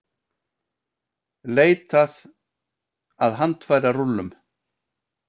Leitað að handfærarúllum